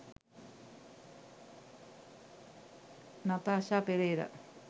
natasha perera